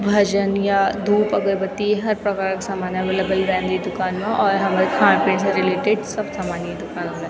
भजन या धूप अगरबत्ती हर प्रकार का सामान अवेलेबल रेंद ये दुकन मा और हमल खाण पीण से रिलेटेड सब सामान यी दुकान म रेंद।